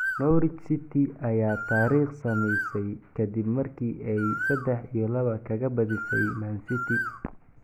Norwich City ayaa taariikh sameysay ka dib markii ay 3-2 kaga badisay Man City